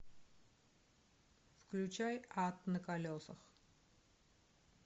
включай ад на колесах